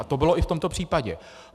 A to bylo i v tomto případě.